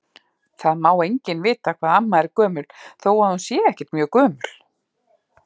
Það má enginn vita hvað amma er gömul þó að hún sé ekkert mjög gömul.